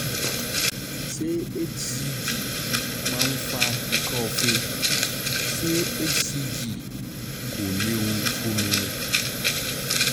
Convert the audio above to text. Ṣé HCG máa ń fa ikọ́ọfe? Ṣé HCG kò léwu fún mi?